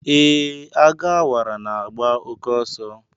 Ee, Agu Awara na-agba oke oso.